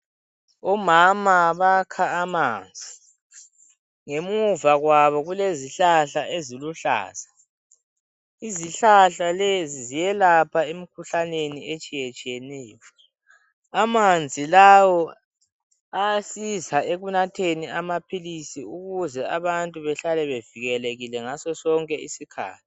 Omama bakha amanzi. Ngemuva kwabo kulezihlahla eziluhlaza. lzihlahla lezi ziyelapha emikhuhlaneni, etshiyetshiyeneyo. Amanzi lawa ayasiza, ekunatheni amaphilisi, ukuze abantu bahlale bevikelekile, ngasonsonke isikhathi.